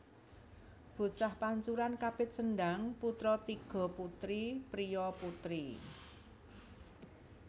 Bocah pancuran kapit sendhang putra tiga putri priya putri